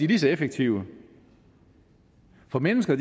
lige så effektive for mennesker